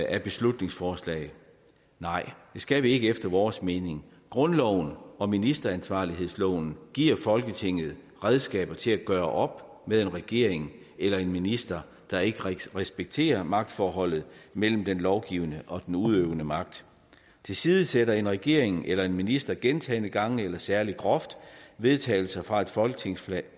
af beslutningsforslag nej det skal vi ikke efter vores mening grundloven og ministeransvarlighedsloven giver folketinget redskaber til at gøre op med en regering eller en minister der ikke respekterer magtforholdet mellem den lovgivende og den udøvende magt tilsidesætter en regering eller en minister gentagne gange eller særlig groft vedtagelser fra et folketingsflertal